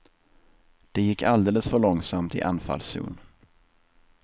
Det gick alldeles för långsamt i anfallszon.